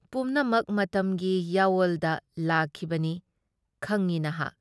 ꯄꯨꯝꯅꯃꯛ ꯃꯇꯝꯒꯤ ꯌꯥꯑꯣꯜꯗ ꯂꯥꯛꯈꯤꯕꯅꯤ ꯈꯪꯏ ꯅꯍꯥꯛ ꯫